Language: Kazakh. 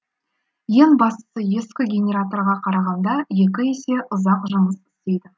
ең бастысы ескі генераторға қарағанда екі есе ұзақ жұмыс істейді